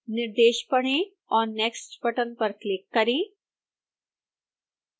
निर्देश पढ़ें और next बटन पर क्लिक करें